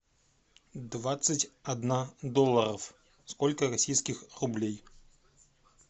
двадцать одна долларов сколько российских рублей